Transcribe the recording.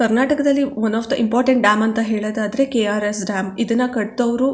ಕರ್ನಾಟಕದಲ್ಲಿ one of the important dam ಅಂತ ಹೇಳೋದಾದ್ರೆ ಕೆ_ಆರ್_ಎಸ್ ಡ್ಯಾಮ್ ಇದನ್ನಾ ಕಟ್ಟದೋರು.